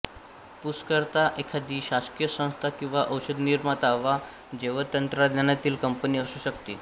पुरस्कर्ता एखादी शासकीय संस्था किंवा औषधनिर्माती वा जैवतंत्रज्ञानातील कंपनी असू शकते